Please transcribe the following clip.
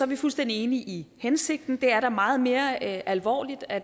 vi fuldstændig enige i hensigten det er da meget mere alvorligt at